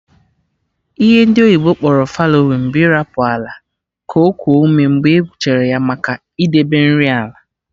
Ihe ndị oyibo kpọrọ fallowing bụ ịrapụ ala ka okuo ume mgbe e gwụchara ya, maka idebe nri ala